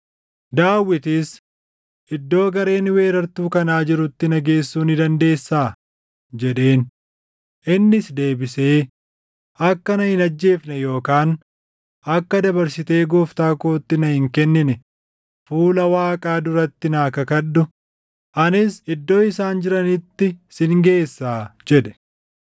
Daawitis, “Iddoo gareen weerartuu kanaa jirutti na geessuu ni dandeessaa?” jedheen. Innis deebisee, “Akka na hin ajjeefne yookaan akka dabarsitee gooftaa kootti na hin kennine fuula Waaqaa duratti naa kakadhu; anis iddoo isaan jiranitti sin geessaa” jedhe.